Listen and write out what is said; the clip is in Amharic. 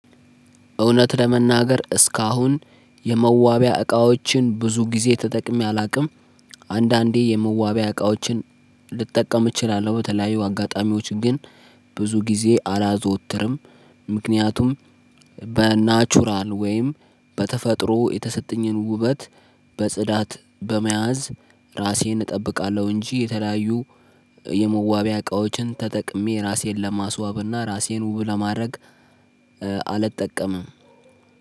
እውነት ለመናገር እስካሁን የመዋቢያ እቃዎችን ብዙ ጊዜ ተጠቅሜ አላውቅም። አንዳንዴ የመዋቢያ እቃዎችን ልጠቀም እችላለሁ በተለያዩ አጋጣሚዎች ግን ብዙ ጊዜ አላዘወትርም። ምክንያቱም በናቹራል ወይም በተፈጥሮ የተሰጠኝን ውበት በጽዳት በመያዝ ራሴን እጠብቃለሁ እንጂ የተለያዩ የመዋቢያ እቃዎችን ተጠቅሜ ራሴን ለማስዋብና ራሴን ውብ ለማድረግ። አልጠቀምም።